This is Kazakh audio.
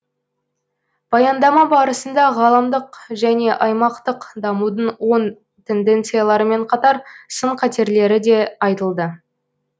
баяндама барысында ғаламдық және аймақтық дамудың оң тенденцияларымен қатар сын қатерлері де айтылды